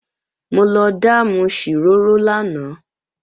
Mo lọ dáàmù ṣìrórò lánàá